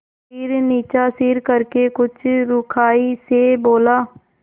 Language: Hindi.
फिर नीचा सिर करके कुछ रूखाई से बोला